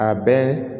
A bɛɛ